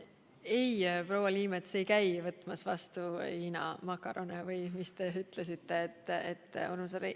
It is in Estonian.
Ei, proua Liimets ei käi võtmas vastu Hiina makarone ega neid muid asju, mida te nimetasite.